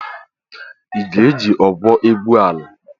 Ị ga-eji ọgwụ egwu ala?